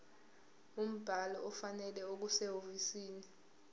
umbhalo ofanele okusehhovisi